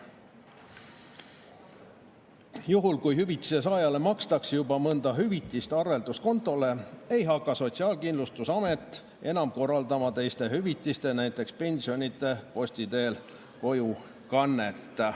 Juhul kui hüvitise saajale makstakse juba mõnda hüvitist arvelduskontole, ei hakka Sotsiaalkindlustusamet enam korraldama teiste hüvitiste, näiteks pensionide posti teel kojukannet.